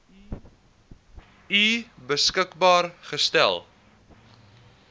u beskikbaar gestel